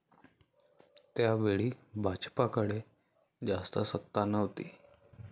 त्यावेळी भाजपाकडे जास्त सत्ता नव्हती.